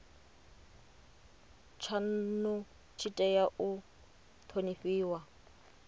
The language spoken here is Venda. tshanu tshi tea u thonifhiwa